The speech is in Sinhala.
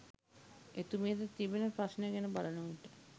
එතුමියට තිබෙන ප්‍රශ්න ගැන බලන විට